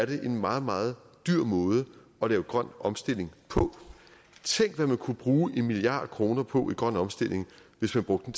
det er en meget meget dyr måde at lave grøn omstilling på tænk hvad man kunne bruge en milliard kroner på i grøn omstilling hvis man brugte